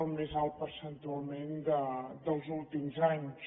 el més alt percentualment dels últims anys